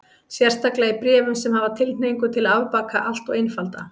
Sérstaklega í bréfum sem hafa tilhneigingu til að afbaka allt og einfalda.